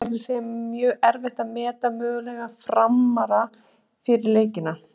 Bjarni segir mjög erfitt að meta möguleika Framara fyrir leikina.